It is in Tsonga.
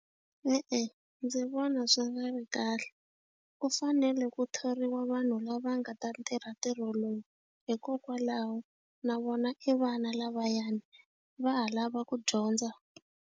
E-e, ndzi vona swi nga ri kahle ku fanele ku thoriwa vanhu lava nga ta tirha ntirho wolowo hikokwalaho na vona i vana lavayani va ha lava ku dyondza.